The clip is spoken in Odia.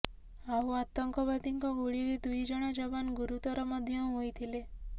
ଆଉ ଆତଙ୍କବାଦୀଙ୍କ ଗୁଳିରେ ଦୁଇ ଜଣ ଯବାନ ଗୁରୁତର ମଧ୍ୟ ହୋଇଥିଲେ